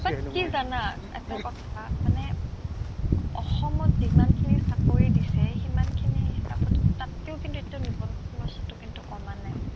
but কি জানা এটা কথা মানে অ অসমত যিমানখিনি চাকৰি দিছে সিমানখিনি হিচাপত কিন্ তাতকৈও কিন্তু এতিয়াও নিবনুৱা সমস্যাটো কিন্তু কমা নাই